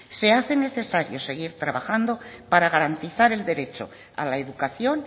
se hace necesario seguir trabajando para garantizar el derecho a la educación